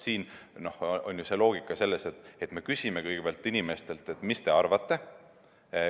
Siin on ju loogika selles, et me küsime kõigepealt inimestelt, mis te arvate.